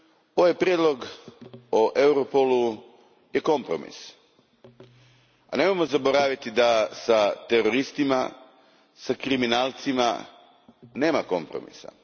Ovaj prijedlog o Europolu je kompromis. Ali, nemojmo zaboraviti da s teroristima i kriminalcima nema kompromisa.